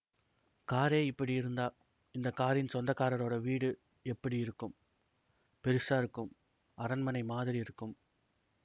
காரே இப்படி இருந்தா இந்த காரின் சொந்தக்காரரோட வீடு எப்படி இருக்கும் பெரிசா இருக்கும் அரண்மனை மாதிரி இருக்கும்